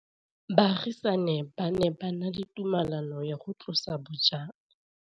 Baagisani ba ne ba na le tumalanô ya go tlosa bojang.